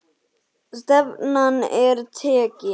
Stefnan er tekin.